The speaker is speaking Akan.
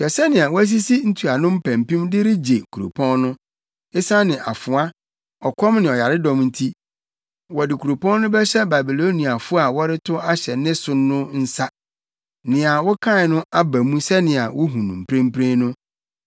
“Hwɛ sɛnea wɔasisi ntuano mpampim de rebegye kuropɔn no. Esiane afoa, ɔkɔm ne ɔyaredɔm nti, wɔde kuropɔn no bɛhyɛ Babiloniafo a wɔretow ahyɛ ne so no nsa. Nea wokae no aba mu sɛnea wuhu no mprempren no.